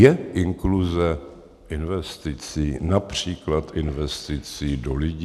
Je inkluze investicí, například investicí do lidí?